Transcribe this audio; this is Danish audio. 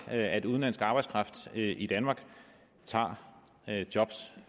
at udenlandsk arbejdskraft i danmark tager jobs